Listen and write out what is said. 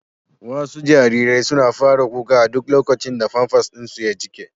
Wasu jariran suna fara kuka a duk lokacin da famfas ɗin su ya jike.